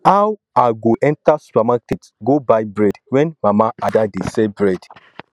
how i go enter supermarket go buy bread when mama ada dey sell bread